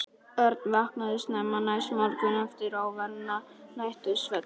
Örn vaknaði snemma næsta morgun eftir óværan nætursvefn.